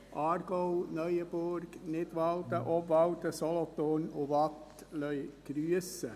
Aargau, Neuenburg, Nidwalden, Obwalden, Solothurn und Waadt lassen grüssen.